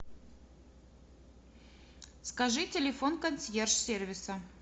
скажи телефон консьерж сервиса